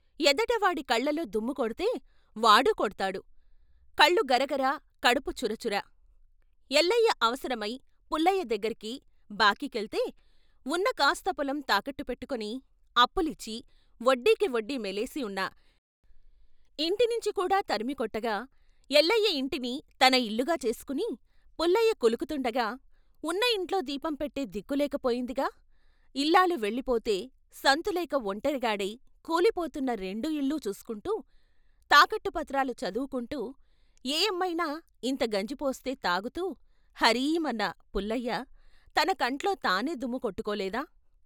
ఎదట వాడి కళ్ళలో దుమ్ము కొడితే వాడు కొడతాడు కళ్ళు గరగర కడుపు చరచురా ఎల్లయ్య అవసరమై పుల్లయ్య దగ్గరకి బాకీకెళ్తే ఉన్న కాస్త పొలం తాకట్టు పెట్టుకుని అప్పులిచ్చి వడ్డీకి వడ్డీ మెలేసి ఉన్న ఇంటినించి కూడా తరిమికొట్టగా ఎల్లయ్య ఇంటిని తన ఇల్లుగా చేసుకుని పుల్లయ్య కులుకుతుండగా, ఉన్న ఇంట్లో దీపం పెట్టే దిక్కులేక పోయిందిగా! ఇల్లాలు వెళ్ళిపోతే సంతులేక ఒంటరిగాడై కూలిపోతున్న రెండు ఇళ్లూ చూసుకుంటూ, తాకట్టు పత్రాలు చదువుకుంటూ ఏ యమ్మయినా ఇంత గంజిపోస్తే తాగుతూ "హరీ" మన్న పుల్లయ్య తన కంట్లో తానే దుమ్ము కొట్టుకోలేదా?